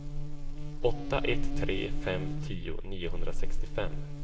åtta ett tre fem tio niohundrasextiofem